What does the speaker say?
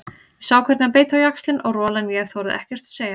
Ég sá hvernig hann beit á jaxlinn og rolan ég þorði ekkert að segja.